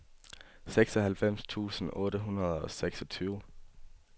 seksoghalvfems tusind otte hundrede og seksogtyve